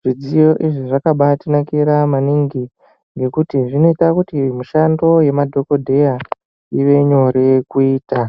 Zvidziyo izvi zvakabatinakira maningi nekuti zvinoita kuti mishando yemadhogodheya ive nyore kuita.